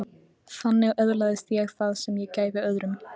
Þannig öðlaðist ég það sem ég gæfi öðrum.